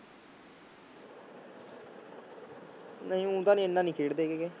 ਨਹੀਂ ਊਂ ਤਾਂ ਨੀ ਇੰਨਾ ਨੀ ਖੇਡਦੇ ਗੇ